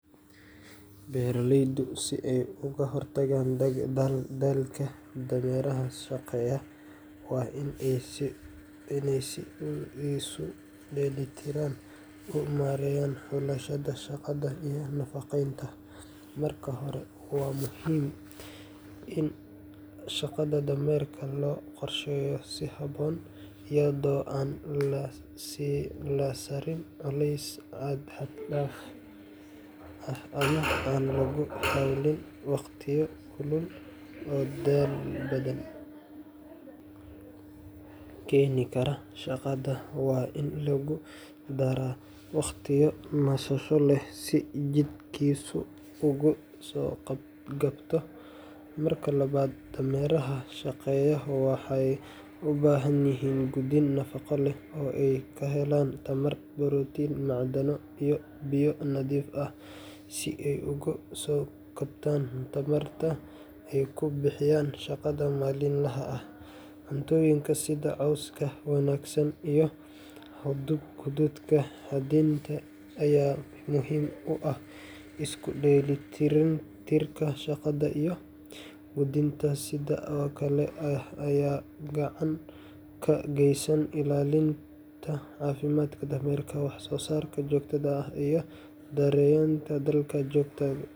Beeraleydu si ay uga hortagaan daalka dameeraha shaqeeya, waa in ay si isu dheellitiran u maareeyaan xulashada shaqada iyo nafaqeynta. Marka hore, waa muhiim in shaqada dameerka loo qorsheeyo si habboon, iyadoo aan la saarin culeys xad dhaaf ah ama aan lagu hawlin waqtiyo kulul oo daal badan keeni kara. Shaqada waa in lagu daraa waqtiyo nasasho leh si jidhkiisu uga soo kabto. Marka labaad, dameeraha shaqeeya waxay u baahan yihiin quudin nafaqo leh oo ay ka helaan tamar, borotiin, macdano iyo biyo nadiif ah, si ay uga soo kabtaan tamarta ay ku bixiyaan shaqada maalinlaha ah. Cuntooyinka sida cawska wanaagsan iyo hadhuudhka xadidan ayaa muhiim u ah. Isku dheelitirka shaqada iyo quudinta sidan oo kale ah ayaa gacan ka geysanaya ilaalinta caafimaadka dameerka, wax-soo-saar joogto ah, iyo yareynta daalka joogtada.